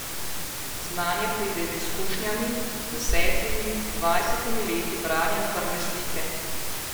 Znanje pride z izkušnjami, z desetimi, dvajsetimi leti branja krvne slike.